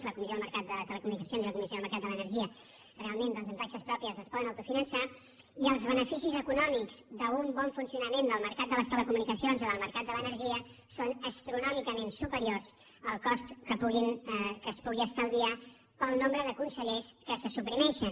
la comissió del mercat de les telecomunicacions i la comissió del mercat de l’energia realment amb taxes pròpies es poden autofinançar i els beneficis econòmics d’un bon funcionament del mercat de les telecomunicacions o del mercat de l’energia són astronòmicament superiors al cost que es pugui estalviar pel nombre de consellers que se suprimeixen